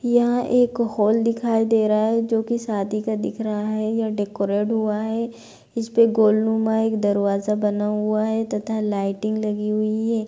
यह एक हॉल दिखाई दे रहा है जो की शादी का दिख रहा है। यह डेकोरेट हुआ है। इस पे गोलनुमा एक दरवाजा बना हुआ है तथा लाइटिंग लगी हुई है।